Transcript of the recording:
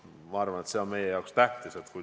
Ma arvan, et see on meie jaoks tähtis.